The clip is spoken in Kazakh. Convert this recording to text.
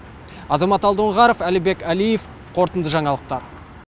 азамат алдоңғаров әлібек әлиев қорытынды жаңалықтар